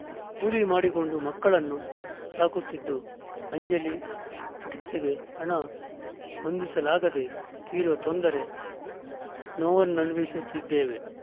ಕೂಲಿ ಮಾಡಿಕೊಂಡು ಮಕ್ಕಳನ್ನು ಸಾಕುತ್ತಿದ್ದು ಅಂಜಲಿ ಚಿಕಿತ್ಸೆಗೆ ಹಣ ಹೊಂದಿಸಲಾಗದೇ ತೀವ್ರ ತೊಂದರೆ ನೋವನುಭವಿಸುತ್ತಿದ್ದೇವೆ